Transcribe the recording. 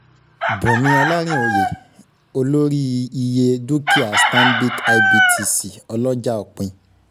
Bùnmí Olarinoye-Olórí- Iye Dúkìá Stanbic IBTC Ọlọ́jà Òpin.